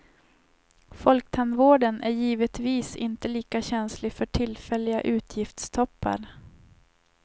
Folktandvården är givetvis inte lika känslig för tillfälliga utgiftstoppar.